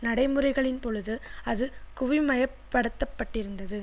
நடைமுறைகளின் பொழுது அது குவிமையப்படுத்தப்பட்டிருந்தது